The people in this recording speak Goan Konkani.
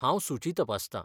हांव सुची तपासता.